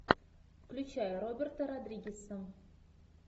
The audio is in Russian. включай роберта родригеса